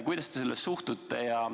Kuidas te sellesse suhtute?